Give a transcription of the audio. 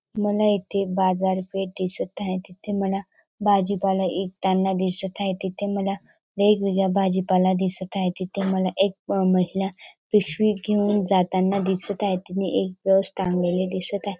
मला इथे बाजार पेठ दिसत हाय तिथे मला भाजी पाला ईकताना दिसत हाय तिथे मला वेगवेगळा भाजी पाला दिसत हाय तिथे मला एक महिला पिशवी घेऊन जाताना दिसत हाय तिने एक बस थांबवलेली दिसत हाय.